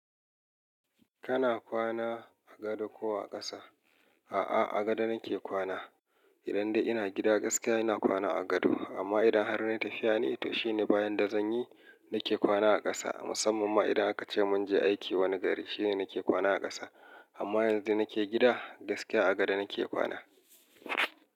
Kana kwana a gado ko a ƙasa? A'a, a gado nake kwana. Idan dai ina gida gaskiya ina kwana a gado. Amma idan har na yi tafiya ne, to shine bayan da zan yi nake kwana a ƙasa. Musamman ma idan aka ce mun je aiki wani gari shine nake kwana a ƙasa. Amma yanzu da nake gida gaskiya a gado nake kwana.